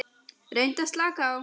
Reyndu að slaka á.